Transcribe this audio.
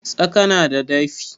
Tsaka na da dafi.